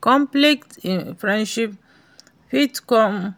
conflict in friendship fit come